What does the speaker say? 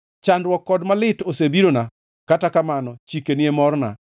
Chandruok kod malit osebirona, kata kamano chikeni e morna.